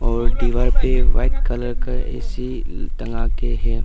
और दीवार पे वाइट कलर का ए_सी टंगा के है।